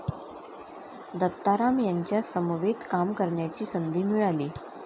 दत्ताराम यांच्या समवेत काम करण्याची संधी मिळाली.